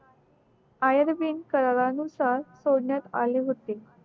करारानुसार सोडण्यात आले होते